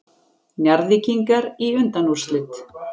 Njarðvíkingar í undanúrslit